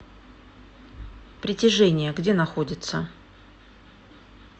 притяжение где находится